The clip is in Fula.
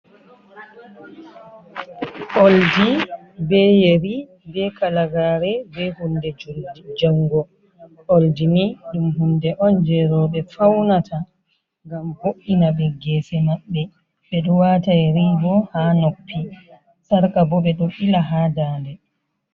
Oldi be yeri be kalagare be hunde jango oldini ɗum hunde on je roɓe faunata gam bo’ina ɓe gese maɓɓe ɓe ɗo wata yeri bo ha noppi sarka bo ɓe ɗo wata ha nda nde.